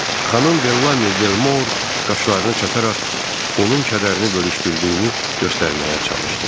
Xanım Bellamy Belmor qaşlarını çatararaq onun kədərini bölüşdürdüyünü göstərməyə çalışdı.